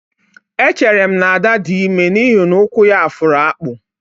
Echere m na Ada dị ime n'ihi na ụkwụ ya fụrụ akpụ